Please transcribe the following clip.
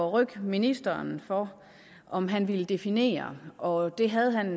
at rykke ministeren for om han vil definere og det havde han